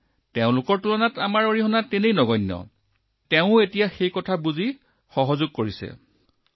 গতিকে তেওঁলোকেও এইটো বুজি পায় আৰু তেওঁলোকে মোৰ সৈতে এক প্ৰকাৰে সহযোগিতা কৰে আৰু এই দুৰ্যোগত যিকোনো সহযোগিতাত তেওঁলোকেও তেওঁলোকৰ ভূমিকা পালন কৰে